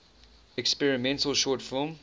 experimental short film